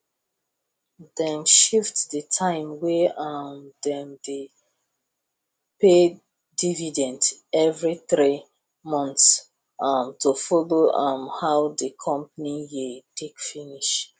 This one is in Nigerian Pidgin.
dem shift the time wey um dem dey pay dividend every three months um to follow um how the company year take finish